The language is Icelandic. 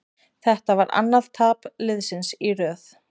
Þetta var annað tap liðsins í röð.